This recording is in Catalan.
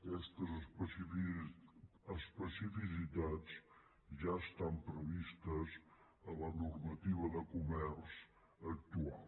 aquestes especificitats ja estan previstes a la normativa de comerç actual